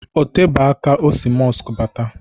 Otebe aka o si mọsk bata